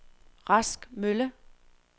Rask Mølle